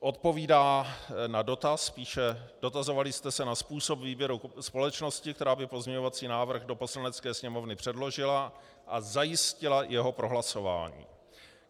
Odpovídá na dotaz, píše: Dotazovali jste se na způsob výběru společnosti, která by pozměňovací návrh do Poslanecké sněmovny předložila a zajistila jeho prohlasování.